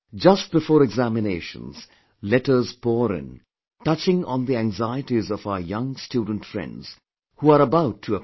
Just before examinations, letter pour in, touching on the anxieties of our young student friends who are about to appear